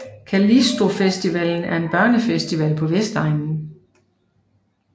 Callisto Festivalen er en børnefestival på Vestegnen